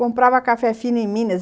Comprava café fino em Minas.